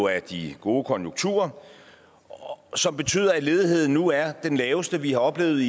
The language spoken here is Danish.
af de gode konjunkturer som betyder at ledigheden nu er den laveste vi har oplevet